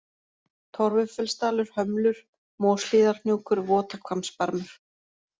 Torfufellsdalur, Hömlur, Moshlíðarhnjúkur, Votahvammsbarmur